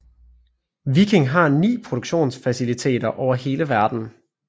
Viking har 9 produktionsfaciliteter over hele verden